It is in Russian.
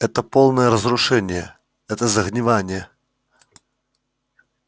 это полное разрушение это загнивание